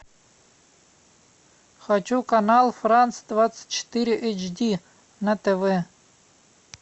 хочу канал франс двадцать четыре эйч ди на тв